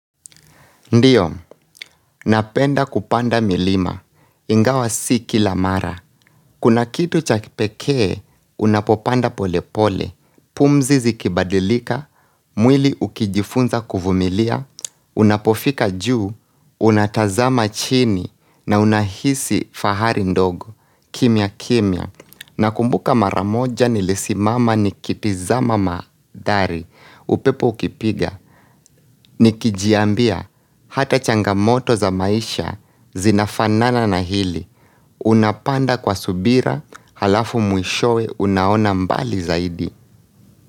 Ndiyo, napenda kupanda milima, ingawa si kila mara. Kuna kitu cha kipekee, unapopanda pole pole, pumzizi kibadilika, mwili ukijifunza kuvumilia, unapofika juu, unatazama chini, na unahisi fahari ndogo, kimya kimya. Na kumbuka maramoja ni lisimama ni kitizama madhari upepo ukipiga ni kijiambia hata changamoto za maisha zinafanana na hili Unapanda kwa subira halafu mwishowe unaona mbali zaidi.